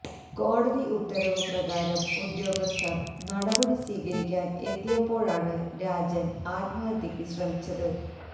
കോടതി ഉത്തരവ് പ്രകാരം ഉദ്യോഗസ്ഥര് നടപടി സ്വീകരിക്കാന് എത്തിയപ്പോഴാണ് രാജന് ആത്മഹത്യയ്ക്ക് ശ്രമിച്ചത്